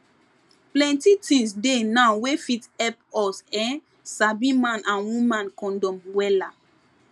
plenty tins dey now wey fit epp us[um]sabi man and woman condom wella